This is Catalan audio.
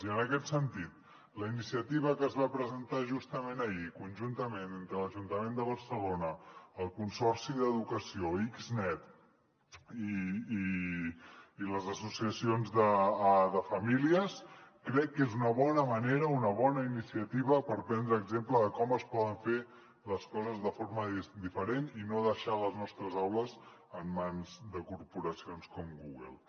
i en aquest sentit la iniciativa que es va presentar justament ahir conjuntament entre l’ajuntament de barcelona el consorci d’educació xnet i les associacions de famílies crec que és una bona manera una bona iniciativa per prendre exemple de com es poden fer les coses de forma diferent i no deixar les nostres aules en mans de corporacions com google